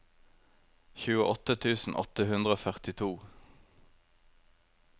tjueåtte tusen åtte hundre og førtito